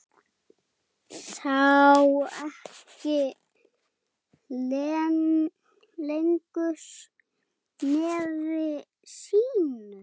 Sá ekki lengra nefi sínu.